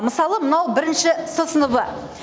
мысалы мынау бірінші с сыныбы